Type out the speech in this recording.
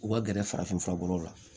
U ka gɛrɛ farafin fura bɔ la